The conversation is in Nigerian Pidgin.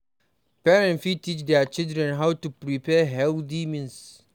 Parents fit teach their children how to prepare healthy means